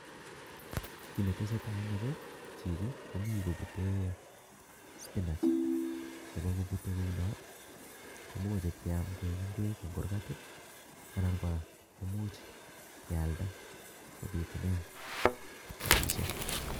Kiit netesetai en yu ko chichi komii kobute spinach kobokobute kouno komokechop keyam koik ngwek en kurgat anan kora komuch keyaldai kobitunen rapisiek